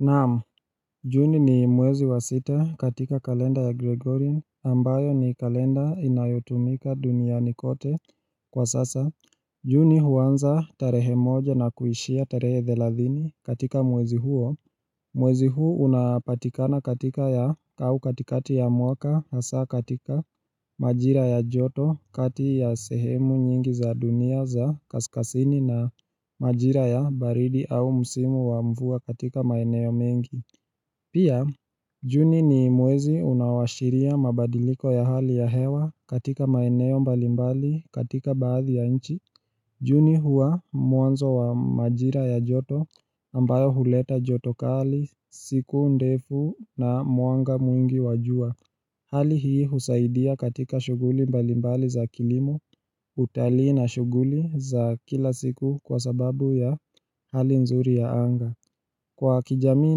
Naam, juni ni mwezi wa sita katika kalenda ya Gregorin ambayo ni kalenda inayotumika duniani kote kwa sasa. Juni huanza tarehe moja na kuishia tarehe thelathini katika mwezi huo. Mwezi huu unapatikana katika ya au katikati ya mwaka hasa katika majira ya joto kati ya sehemu nyingi za dunia za kaskasini na majira ya baridi au musimu wa mvua katika maeneo mengi. Pia, juni ni mwezi unaoashiria mabadiliko ya hali ya hewa katika maeneo mbalimbali katika baadhi ya nchi. Juni huwa mwanzo wa majira ya joto ambayo huleta joto kali siku ndefu na mwanga mwingi wa jua. Hali hii husaidia katika shughuli mbalimbali za kilimo utalii na shughuli za kila siku kwa sababu ya hali nzuri ya anga. Kwa kijamii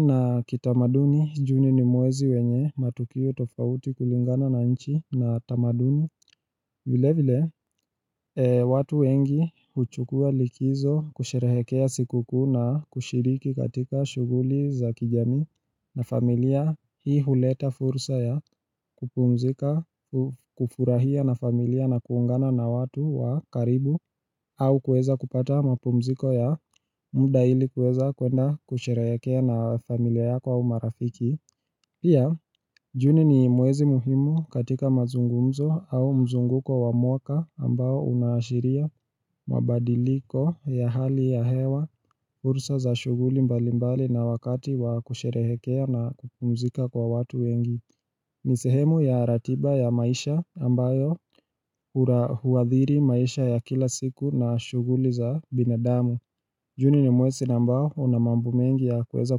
na kitamaduni, juni ni mwezi wenye matukio tofauti kulingana na nchi na tamaduni vile vile, watu wengi huchukua likizo kusherehekea sikukuu na kushiriki katika shughuli za kijamii na familia Hii huleta fursa ya kupumzika, kufurahia na familia na kuungana na watu wa karibu au kueza kupata mapumziko ya muda ili kueza kuenda kusherehekea na familia yako au marafiki Pia, juni ni mwezi muhimu katika mazungumzo au mzunguko wa mwaka ambao unaashiria mabadiliko ya hali ya hewa fursa za shughuli mbalimbali na wakati wa kusherehekea na kupumzika kwa watu wengi ni sehemu ya ratiba ya maisha ambayo huadhiri maisha ya kila siku na shughuli za binadamu Juni ni mwezi ambao una mambo mengi ya kueza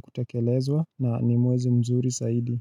kutekelezwa na ni mwezi mzuri zaidi.